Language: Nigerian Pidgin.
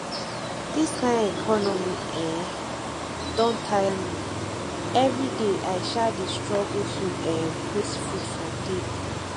dis kain economy um don tire me everyday i um dey struggle to um put food for table